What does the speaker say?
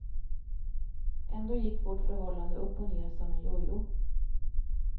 Ändå gick vårt förhållande upp och ner som en jojo.